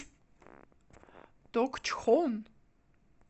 токчхон